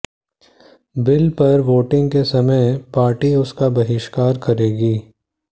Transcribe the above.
bill पर voting के समय पार्टी उसका बहिष्कार करेगी